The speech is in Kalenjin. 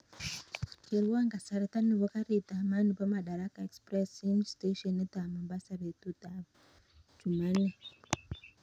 Kerwon kasarta nebo garit ab maat nebo madaraka express en steshenit ab mombasa betut ab chumanne